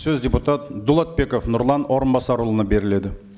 сөз депутат дулатбеков нұрлан орынбасарұлына беріледі